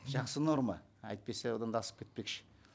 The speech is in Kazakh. жақсы норма әйтпесе одан да асып кетпекші